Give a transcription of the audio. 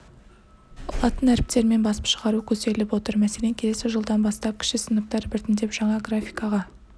латын әріптерімен басып шығару көзделіп отыр мәселен келесі жылдан бастап кіші сыныптар біртіндеп жаңа графикаға